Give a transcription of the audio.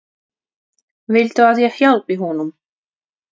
Viltu að ég hjálpi honum?